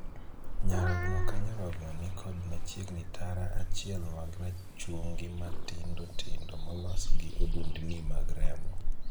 Nyarogno ka nyarogno ni kod machiegni tara achiel mag rachungi ma tindotindo molos gi odundni mag remo.